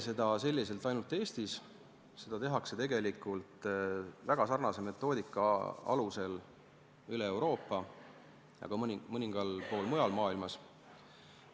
Seda ei tehta nii mitte ainult Eestis, vaid tegelikult tehakse seda väga sarnase metoodika alusel üle kogu Euroopa ja ka mõnel pool mujal maailmas.